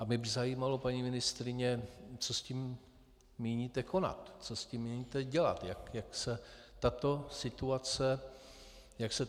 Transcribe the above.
A mě by zajímalo, paní ministryně, co s tím míníte konat, co s tím míníte dělat, jak se tato situace bude řešit.